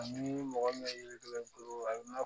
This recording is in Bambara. Ani mɔgɔ min yiridenna